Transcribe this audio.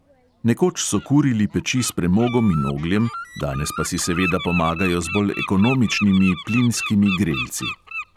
Nekoč so kurili peči s premogom in ogljem, danes pa si seveda pomagajo z bolj ekonomičnimi plinskimi grelci.